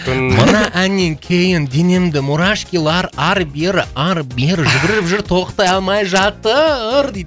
мына әннен кейін денемді мурашкилар ары бері ары бері жүгіріп жүр тоқтай алмай жатыр дейді